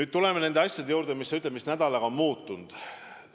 Aga tuleme nende asjade juurde, mis sinu sõnul nädalaga on muutunud.